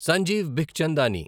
Sanjeev Bikhchandani